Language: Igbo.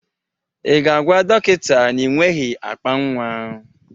Ị ga-agwa dọkịta na ị nweghị akpa nnwa?